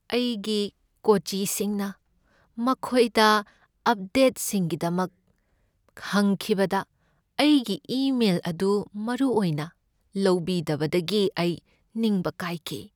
ꯑꯩꯒꯤ ꯀꯣꯆꯤꯁꯤꯡꯅ ꯃꯈꯣꯏꯗ ꯑꯞꯗꯦꯠꯁꯤꯡꯒꯤꯗꯃꯛ ꯍꯪꯈꯤꯕꯗ ꯑꯩꯒꯤ ꯏꯃꯦꯜ ꯑꯗꯨ ꯃꯔꯨ ꯑꯣꯏꯅ ꯂꯧꯕꯤꯗꯕꯗꯒꯤ ꯑꯩ ꯅꯤꯡꯕ ꯀꯥꯏꯈꯤ ꯫